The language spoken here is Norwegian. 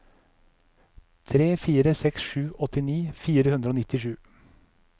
tre fire seks sju åttini fire hundre og nittisju